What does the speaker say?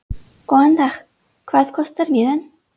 Góðan dag. Hvað kostar miðinn?